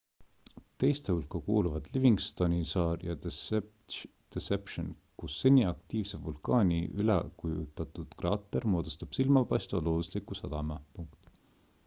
teiste hulka kuuluvad livingstoni saar ja deception kus seni aktiivse vulkaani üleujutatud kraater moodustab silmapaistva loodusliku sadama